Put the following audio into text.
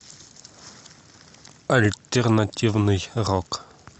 альтернативный рок